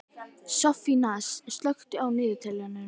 Soffanías, slökktu á niðurteljaranum.